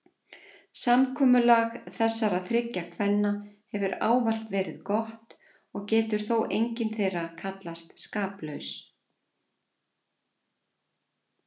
Samkomulag þessara þriggja kvenna hefur ávallt verið gott og getur þó engin þeirra kallast skaplaus.